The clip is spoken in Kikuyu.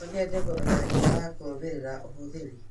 No nyende kũmenya njira ya kurũmĩrĩra ũhũthĩri